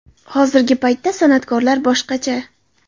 Hozirgi paytda san’atkorlar boshqacha.